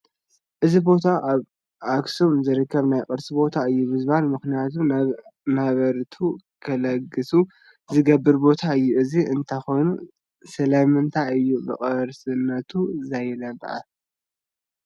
እዚ ቦታ ኣብ ኣኽሱም ዝርከብ ናይ ቅርሲ ቦታ እዩ ብዝብል ምኽንያት ነበርቱ ክለግሱ ዝተገብረ ቦታ እዩ፡፡ እዚ እንተኾኑ ስለምንታይ እዩ ብቅርስነቱ ዘይለምዐ?